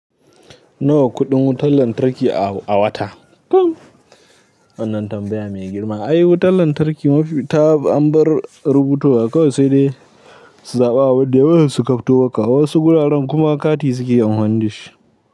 Nawa kuɗin wutar lantarki a, a wata? Wannan tambaya mai girma. Ai wutar lantarki mafi ta amban rubutowa kawai sai dai su zaɓa wa duk da yawa suka fito waka. Wasu guraren kuma kati suke yin amfani dashi.